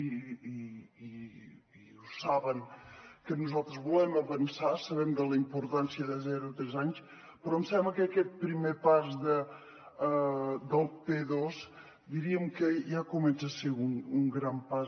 i ho saben que nosaltres volem avançar sabem la importància de zero a tres anys però em sembla que aquest primer pas del p2 diríem que ja comença a ser un gran pas